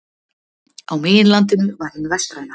á meginlandinu var hin vestræna